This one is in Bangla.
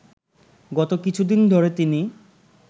গত কিছুদিন ধরে তিনি